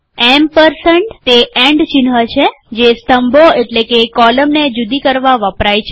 ampersand તે and ચિહ્ન છે જે સ્તંભો એટલે કે કૉલમને જુદી કરવાં વપરાય છે